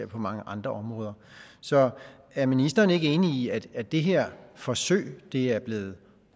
på mange andre områder så er ministeren ikke enig i at at det her forsøg er blevet